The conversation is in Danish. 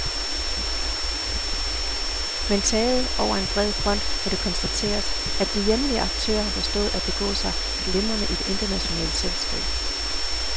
Men taget over en bred front må det konstateres, at de hjemlige aktører har forstået at begå sig glimrende i det internationale selskab.